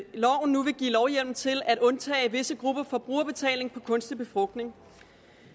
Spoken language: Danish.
nu vil give lovhjemmel til at undtage visse grupper for brugerbetaling for kunstig befrugtning